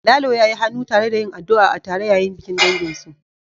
Lalo ya yi hannu tare da yin addu'a tare yayin bikin danginsu